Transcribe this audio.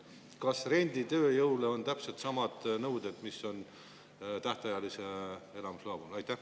Kas renditööjõule on täpselt samad nõuded, mis on tähtajalise elamisloa puhul?